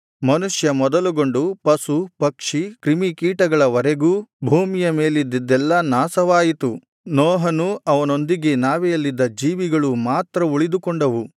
ಮನುಷ್ಯ ಮೊದಲುಗೊಂಡು ಪಶು ಪಕ್ಷಿ ಕ್ರಿಮಿಕೀಟಗಳ ವರೆಗೂ ಭೂಮಿಯ ಮೇಲಿದ್ದದ್ದೆಲ್ಲಾ ನಾಶವಾಯಿತು ನೋಹನೂ ಅವನೊಂದಿಗೆ ನಾವೆಯಲ್ಲಿದ್ದ ಜೀವಿಗಳೂ ಮಾತ್ರ ಉಳಿದುಕೊಂಡವು